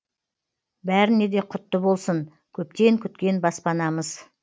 бәріне де құтты болсын көптен күткен баспанамыз